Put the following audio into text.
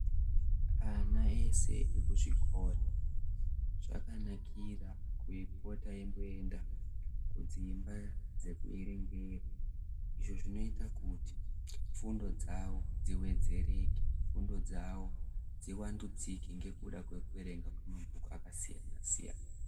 Ana ese ekuzvikora zvakanakira kupota eimboenda kudzimba dzekuerengera izvo zvinoita kuti fundo dzawo dziwedzereke. Fundo dzawo dzivandudzike ngekuda kwekuerenga mabhuku akasiyana-siyana.